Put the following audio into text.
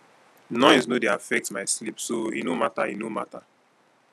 noise no dey affect my sleep so e no mata e no mata